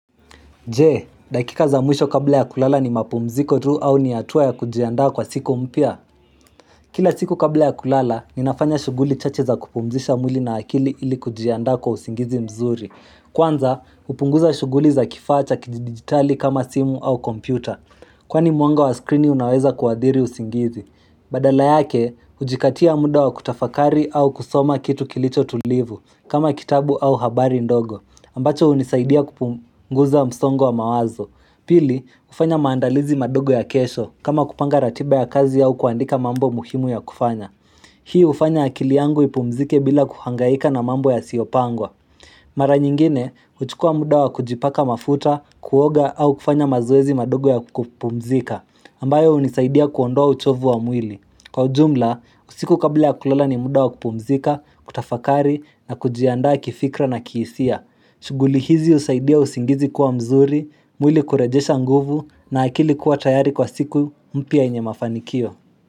Je, dakika za mwisho kabla ya kulala ni mapumziko tu au ni atua ya kujianda kwa siku mpia? Kila siku kabla ya kulala, ninafanya shuguli chache za kupumzisha mwili na akili ili kujianda kwa usingizi mzuri. Kwanza, upunguza shuguli za kifacha kidigitali kama simu au kompyuta. Kwani muanga wa screeni unaweza kuadhiri usingizi. Badala yake, ujikatia muda wa kutafakari au kusoma kitu kilicho tulivu, kama kitabu au habari ndogo. Ambacho unisaidia kupunguza msongo wa mawazo. Pili, ufanya maandalizi madogo ya kesho kama kupanga ratiba ya kazi ya ukuandika mambo muhimu ya kufanya. Hii ufanya akili yangu ipumzike bila kuhangaika na mambo ya siopangwa. Mara nyingine, uchukua muda wa kujipaka mafuta, kuoga au kufanya mazoezi madogo ya kupumzika ambayo unisaidia kuondoa uchovu wa mwili. Kwa ujumla, usiku kabla ya kulola ni muda wa kupumzika, kutafakari na kujianda kifikra na kihisia. Shuguli hizi usaidia usingizi kuwa mzuri, mwili kurajesha nguvu na akili kuwa tayari kwa siku mpya yenye mafanikio.